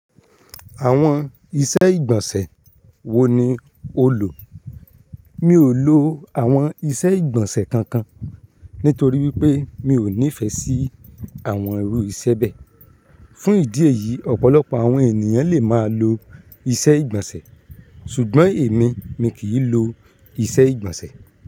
Àwọn iṣẹ́ ìgbọ̀nsẹ̀ wo ni o lò? Mi ò lò àwọn iṣẹ́ ìgbọ̀nsẹ̀ kankan, nítorí wípé mi ò nífẹ̀ẹ́ sí àwọn irú iṣẹ́ bẹ́ẹ̀. Fún ìdí èyí, ọ̀pọ̀lọpọ̀ àwọn ènìyàn lè máa lo iṣẹ́ ìgbọ̀nsẹ̀, ṣùgbọ́n èmi, mi kì í lo iṣẹ́ ìgbọ̀nsẹ̀.